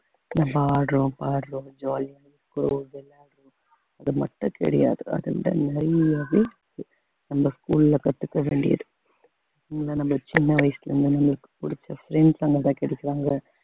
நல்லா ஆடுறோம் பாடுறோம் jolly யா அது மட்டும் கிடையாது அத விட நிறைய இது அந்த school அ கத்துக்க வேண்டியது இங்க நம்ம சின்ன வயசுல இருந்து நம்மளுக்கு பிடிச்ச friends அவங்கதான் கிடைச்சாங்க